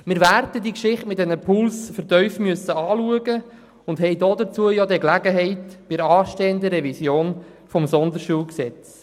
Wir werden die Geschichte mit diesen Pools vertieft betrachten müssen und erhalten dazu die Gelegenheit bei der anstehenden Revision der Sonderschulgesetzgebung.